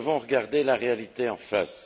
Nous devons regarder la réalité en face.